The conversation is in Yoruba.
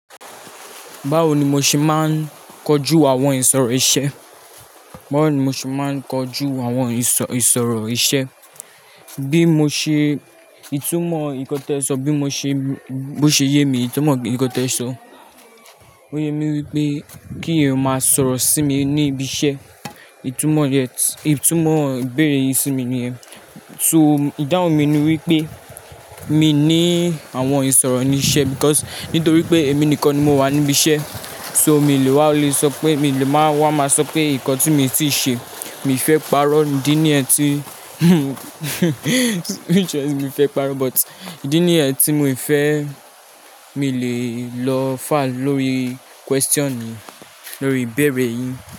Báwo ni mo ṣe máa ń kojú àwọn ìṣòro iṣẹ́? Báwo ni mo ṣe máa ń kojú àwọn ìṣòro iṣẹ́? Bí mo ṣe, ìtumọ̀ nǹkan tẹ sọ, bí mo ṣe, bó ṣe yẹ mí ìtumọ̀ nǹkan tẹ ìsọ. Ó yẹ mí wípé kí èèyàn máa sọ̀rọ̀ sí mi ní ibi iṣẹ́. Ìtumọ̀ yẹn, ìtumọ̀ ìbéèrè yín sí mi ni yẹn. So, ìdáhùn mi ni wípé mi ní àwọn ìṣòro ni iṣẹ́ because nítorí pé èmi nìkan ni mo wà níbi iṣẹ́. So, mi ò lè wá lè sọ pé, mi ò lè máa wá máa sọ pé nǹkan tí mi ti ṣe mi ò fẹ́ parọ́. Ìdí nìyẹn tí mi ò fẹ́ parọ́. But ìdí nìyẹn tí mo fẹ́, mi ò lè lọ far lórí question lórí ìbéèrè yín.